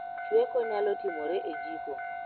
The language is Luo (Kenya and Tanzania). Chweko nyalo timore e jiko